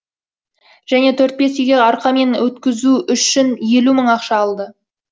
және төрт бес үйге аркамен өткізу үшін елу мың ақша алды